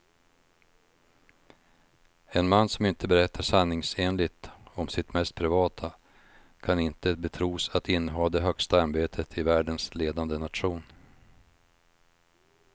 En man som inte berättar sanningsenligt om sitt mest privata kan inte betros att inneha det högsta ämbetet i världens ledande nation.